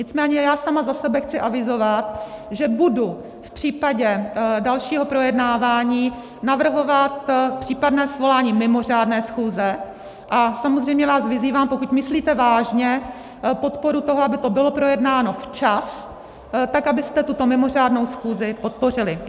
Nicméně já sama za sebe chci avizovat, že budu v případě dalšího projednávání navrhovat případné svolání mimořádné schůze, a samozřejmě vás vyzývám, pokud myslíte vážně podporu toho, aby to bylo projednáno včas, tak abyste tuto mimořádnou schůzi podpořili.